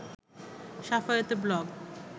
শাফায়েতের blog